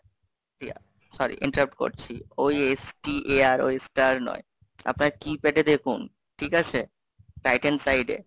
Riya, sorry Interact করছি, ওই S T A R ওই star নয়, আপনারা key pad এ দেখুন ঠিক আছে Titan side এ,